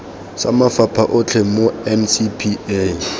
sa mafapha otlhe mo ncpa